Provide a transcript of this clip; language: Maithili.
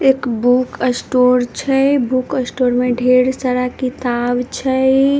एक बुक स्टोर छै बुक स्टोर में ढेर सारा किताब छैइ।